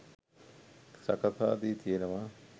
සකසා දී තියෙනවා.